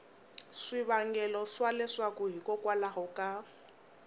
swivangelo swa leswaku hikokwalaho ka